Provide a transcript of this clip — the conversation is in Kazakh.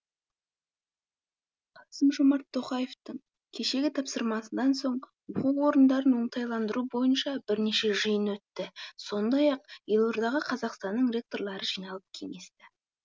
қасым жомарт тоқаевтың кешегі тапсырмасынан соң оқу орындарын оңтайландыру бойынша бірнеше жиын өтті сондай ақ елордаға қазақстанның ректорлары жиналып кеңесті